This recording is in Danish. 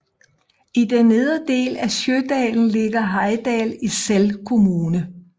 I den nedre del af Sjodalen ligger Heidal i Sel kommune